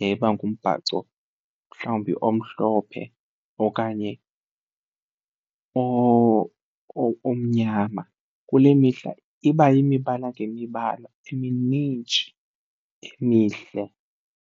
yayiba ngumbhaco mhlawumbi omhlophe okanye omnyama. Kule mihla iba yimibala ngemibala eminintshi emihle.